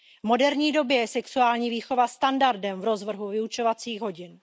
V moderní době je sexuální výchova standardem v rozvrhu vyučovacích hodin.